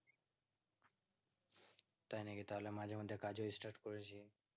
তাই নাকি তাহলে মাঝে মাঝে কাজও start করেছো